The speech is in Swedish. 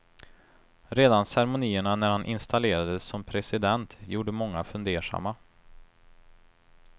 Redan ceremonierna när han installerades som president gjorde många fundersamma.